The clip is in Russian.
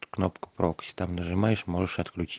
кнопка прокси там нажимаешь можешь отключить